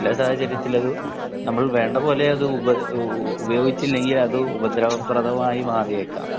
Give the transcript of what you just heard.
നമ്മൾ വേണ്ട വിധത്തിൽ ഉപയോഗിച്ചില്ലെങ്കിൽ അത് ഉപദ്രവകരമായി മാറിയേക്കാം